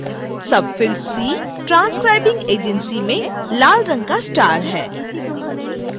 field c transcribing agency में लाल रंग का स्टार है